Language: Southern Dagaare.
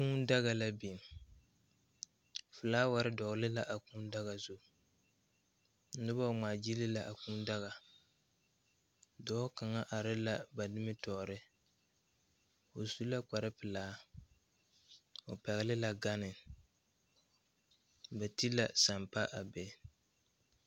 Kūū daga la biŋ flaawarre dɔgle la a kūū daga zu nobɔ ngmaa gyille la a kūū daga dɔɔ kaŋa are la ba nimitoore o su la kpare kpare pelaa o pɛgle la gane ba ti la sampa a be.